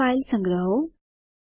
હવે ફાઈલ સંગ્રહો